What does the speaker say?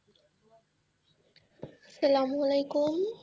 সালামালেকুম,